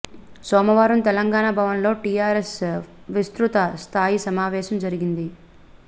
సోమవారం తెలంగాణ భవన్ లో టీఆర్ఎస్ విస్తృత స్ధాయి సమావేశం జరిగింది